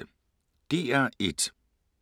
DR1